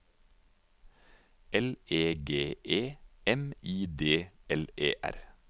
L E G E M I D L E R